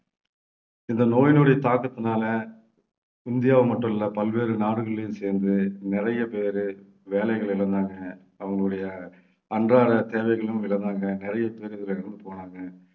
இந்த நோயினுடைய தாக்கத்தினாலே இந்தியாவை மட்டும் இல்லை பல்வேறு நாடுகளிலேயும் சேர்ந்து நிறைய பேரு வேலைகளை இழந்தாங்க. அவங்களுடைய அன்றாட தேவைகளையும் இழந்தாங்க. நிறைய பேர் இதிலே இறந்து போனாங்க